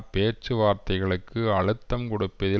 பேச்சுவார்த்தைகளுக்கு அழுத்தம் கொடுப்பதில்